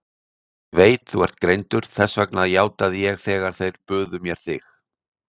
Ég veit að þú ert greindur, þess vegna játaði ég þegar þeir buðu mér þig.